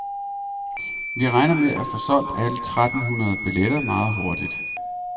Vi regner med at få solgt alle tretten hundrede billetter meget hurtigt.